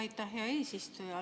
Aitäh, hea eesistuja!